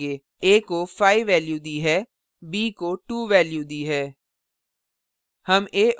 a को 5 value दी है b को 2 value दी है